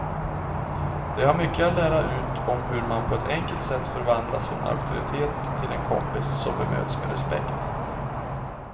De har mycket att lära ut om hur man på ett enkelt sätt förvandlas från auktoritet till en kompis som bemöts med respekt.